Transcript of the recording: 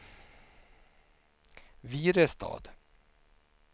Virestad